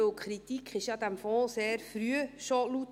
– Denn die Kritik an diesem Fonds wurde ja schon sehr früh laut.